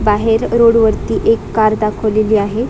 बाहेर रोड वरती एक कार दाखवलेली आहे.